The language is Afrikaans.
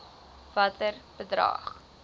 watter bedrag